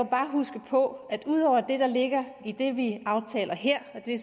huske på at ud over det der ligger i det vi aftaler her og det